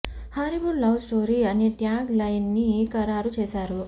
horrible love story అనే tag line ని ఖరారు చేసారు